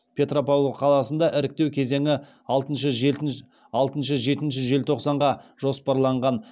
петропавл қаласында іріктеу кезеңі алтыншы жетінші желтоқсанға жоспарланған